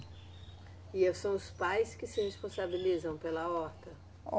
E são os pais que se responsabilizam pela horta?